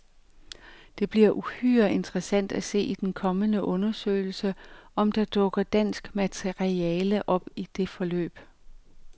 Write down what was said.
Det bliver uhyre interessant at se i den kommende undersøgelse, om der dukker dansk materiale op om det forløb.